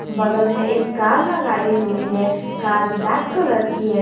बगल में एक कार लगाई हुई है कार ब्लैक कलर की है।